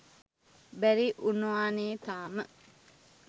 බැරි වුනානේ තාම.